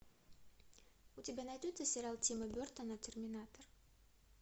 у тебя найдется сериал тима бертона терминатор